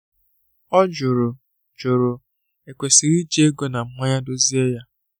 Ọ jụrụ jụrụ e kwesịrị iji ego na mmanye dozie ya